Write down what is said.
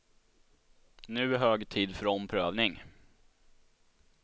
Nu är hög tid för omprövning.